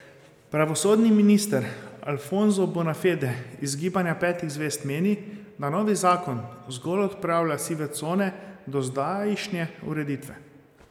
Pravosodni minister Alfonso Bonafede iz Gibanja petih zvezd meni, da novi zakon zgolj odpravlja sive cone dozdajšnje ureditve.